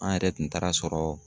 An yɛrɛ tun taara sɔrɔ